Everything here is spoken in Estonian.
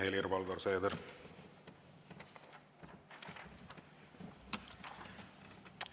Aitäh, Helir-Valdor Seeder!